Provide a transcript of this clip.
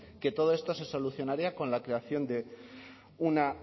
que todo esto se solucionaría con la creación de una